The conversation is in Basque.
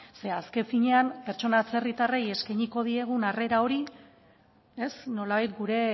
zeren azken finean pertsona atzerritarrei eskainiko diegun harrera hori nolabait gure